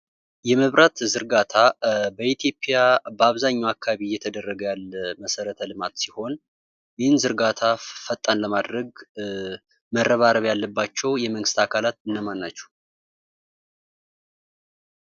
የመብራት ዝርጋታ በኢትዮጵያ በአብዛኛዉ አካባቢ እየተደረገ ያለ መሰረተ ልማት ሲሆን ይህን ዝርጋታ ፈጣን ለማድረግ መረባረብ ያለባቸዉ የመንግስት አካላት እነማን ናቸዉ?